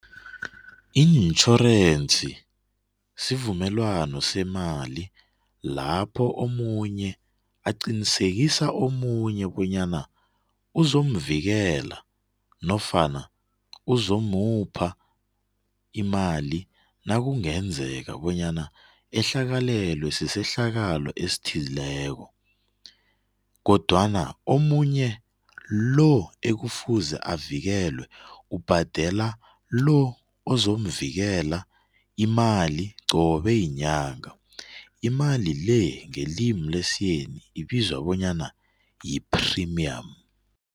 Itjhorense sivumelwano semali lapho omunye aqinisekisa omunye bonyana uzomuvikela nofana uzomupha imali nakungenzeka bonyana ehlakalelwe sisehlakalo esithileko kodwana omunye lo ekufuze avikelwe ubhadela lo ozomvikela imali qobe yinyanga. Imali le, ngelimi lesiyeni ibizwa bonyana yi-premium.